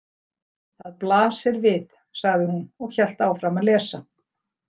Það blasir við, sagði hún og hélt áfram að lesa.